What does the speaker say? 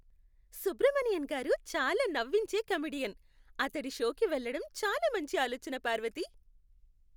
సుబ్రమణియన్ గారు చాలా నవ్వించే కమెడియన్. అతడి షోకి వెళ్లడం చాలా మంచి ఆలోచన, పార్వతీ.